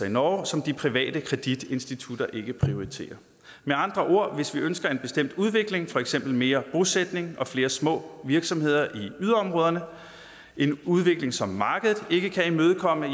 i norge som de private kreditinstitutter ikke prioriterer med andre ord hvis vi ønsker en bestemt udvikling for eksempel mere bosætning og flere små virksomheder i yderområderne en udvikling som markedet ikke kan imødekomme